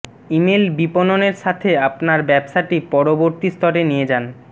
email বিপণনের সাথে আপনার ব্যবসাটি পরবর্তী স্তরে নিয়ে যান